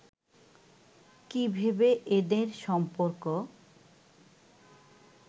কী ভেবে এঁদের সম্পর্ক